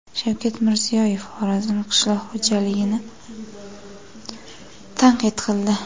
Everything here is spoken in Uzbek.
Shavkat Mirziyoyev Xorazm qishloq xo‘jaligini tanqid qildi.